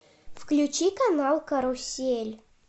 включи канал карусель